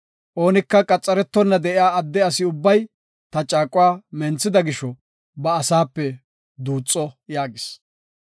Oonika qaxaretona de7iya adde asi ubbay ta caaquwa menthida gisho ba asaape duuxo” yaagis.